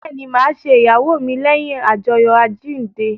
Bẹẹni, ma ṣe ìyàwó mi leyin ajoyo àjíǹde